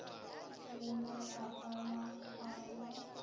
le ba lapa la gabo